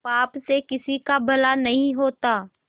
पाप से किसी का भला नहीं होता